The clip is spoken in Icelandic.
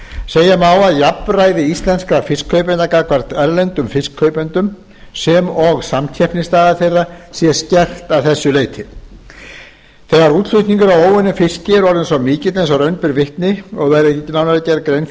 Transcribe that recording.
segja má að jafnræði íslenskra fiskkaupenda gagnvart erlendum fiskkaupendum sem og samkeppnisstaða þeirra sé skert að þessu leyti þegar útflutningur á óunnum fiski er orðinn svo mikill og raun ber vitni og verður nánar gerð grein